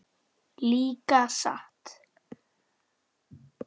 Líka satt?